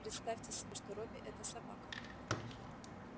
представьте себе что робби это собака